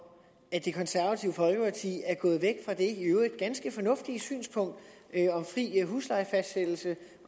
at det konservative folkeparti er gået væk fra det i øvrigt ganske fornuftige synspunkt om fri huslejefastsættelse